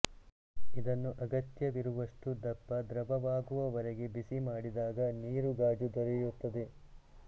ಇದನ್ನು ಅಗತ್ಯವಿರುವಷ್ಟು ದಪ್ಪ ದ್ರವವಾಗುವವರೆಗೆ ಬಿಸಿ ಮಾಡಿದಾಗ ನೀರು ಗಾಜು ದೊರೆಯುತ್ತದೆ